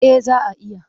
Eh za a iya.